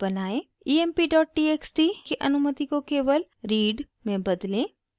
emptxt की अनुमति को केवल read में बदलें